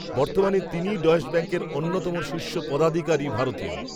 বর্তমানে তিনিই ডয়েশ ব্যাঙ্কের অন্যতম শীর্ষ পদাধিকারী ভারতীয়